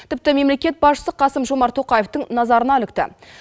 тіпті мемлекет басшысы қасым жомарт тоқаевтың назарына ілікті